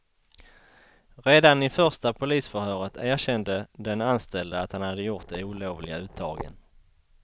Redan i första polisförhöret erkände den anställde att han hade gjort de olovliga uttagen.